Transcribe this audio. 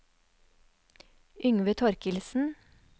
Yngve Torkildsen